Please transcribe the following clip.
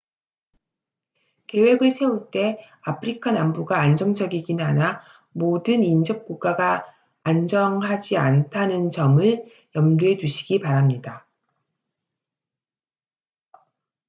계획을 세울 때 아프리카 남부가 안정적이긴 하나 모든 인접 국가가 안정하지는 않다는 점을 염두에 두시기 바랍니다